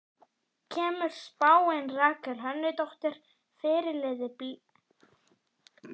Kemur spáin Rakel Hönnudóttur, fyrirliða Blika á óvart?